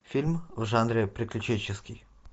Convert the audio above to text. фильм в жанре приключенческий